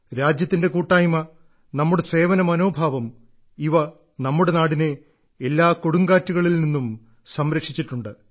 രാജ്യത്തിന്റെ കൂട്ടായ്മ നമ്മുടെ സേവന മനോഭാവം ഇവ നമ്മുടെ നാടിനെ എല്ലാ കൊടുങ്കാറ്റുകളിൽ നിന്നും സംരക്ഷിച്ചിട്ടുണ്ട്